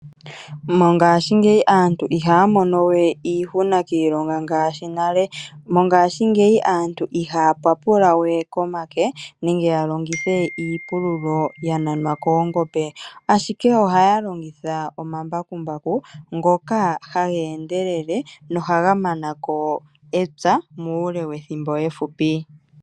Mongaashingeyi aantu ihaya monowe iihuna komailonga. Mongaashingeyi aantu ihaya papula we komake, ohaya longitha iipululo ya nanwa koongombe. Ashike ohaya longitha omambakumbaku ngoka haga endelele nohaga mana ko epya muule wethimbo efupi.